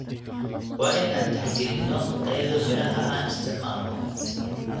Waa in aan tixgelinno tayada miraha aan isticmaalno.